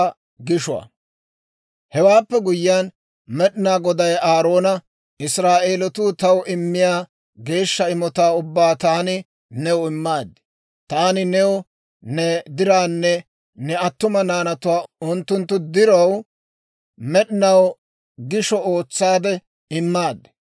Hewaappe guyyiyaan Med'inaa Goday Aaroona, «Israa'eelatuu taw immiyaa geeshsha imotaa ubbaa taani new immaad. Taani new ne dirawunne ne attuma naanaw unttunttu diraw med'inaw gishsha ootsaade immaaddi.